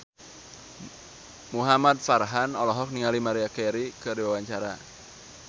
Muhamad Farhan olohok ningali Maria Carey keur diwawancara